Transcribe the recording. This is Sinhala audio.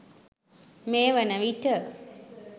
මේ වන විට